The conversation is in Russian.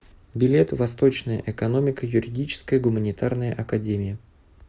билет восточная экономико юридическая гуманитарная академия